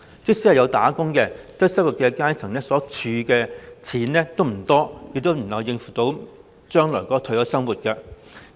即使有工作，低收入階層所儲蓄的金錢不多，亦無法應付將來的退休生活。